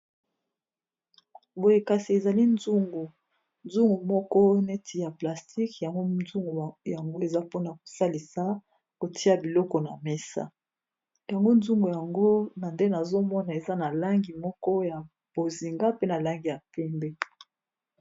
Boye kasi ezali nzungu nzungu moko neti ya plastique yango nzungu yango eza mpona kosalisa kotia biloko na mesa yango nzungu yango na nde nazomona eza na langi moko ya bozinga, pe na langi ya pembe.